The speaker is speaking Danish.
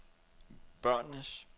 børnenes